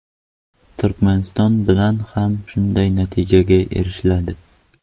Turkmaniston bilan ham shunday natijaga erishiladi.